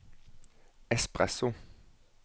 espresso